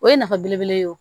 O ye nafa belebele ye o